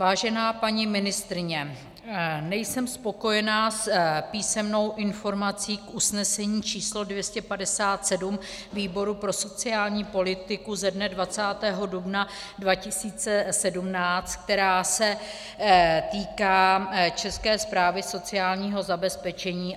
Vážená paní ministryně, nejsem spokojena s písemnou informací k usnesení číslo 257 výboru pro sociální politiku ze dne 20. dubna 2017, která se týká České správy sociálního zabezpečení.